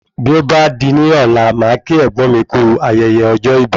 Bí ọ bá di ní ọ̀la màá kí ẹ̀gbọ́n mi kú ayẹyẹ ọjọ́ ibi